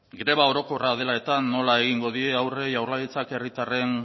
greba orokorra dela nola egingo die aurre jaurlaritzak herritarren